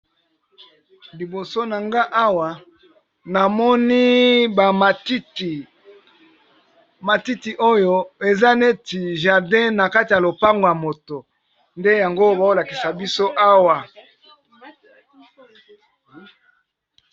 liboso na nga awa namoni bamatiti oyo eza neti jardín na kati ya lopangw ya moto nde yango baolakisa biso awa